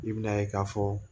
I bɛna ye k'a fɔ